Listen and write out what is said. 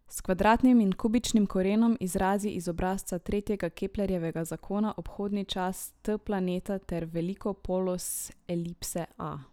S kvadratnim in kubičnim korenom izrazi iz obrazca tretjega Keplerjevega zakona obhodni čas T planeta ter veliko polos elipse a.